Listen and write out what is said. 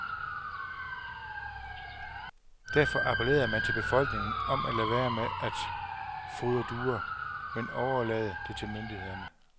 Derfor appellerede man til befolkningen om at lade være med at fodre duer, men overlade det til myndighederne.